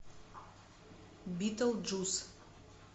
битлджус